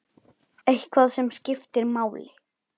Eitthvað sem skiptir máli?